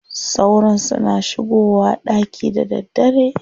Sauron suna shigowa ɗaki da daddare.